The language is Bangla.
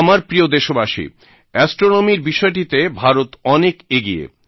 আমার প্রিয় দেশবাসী অ্যাস্ট্রনমি র বিষয়টিতে ভারত অনেক এগিয়ে